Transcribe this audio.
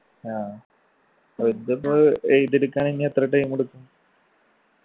ആ ഇതിപ്പോ എഴുതി എടുക്കാൻ ഇനി എത്ര time എടുക്കും?